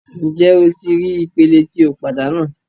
Njẹ o ti rii ipele ti o padanu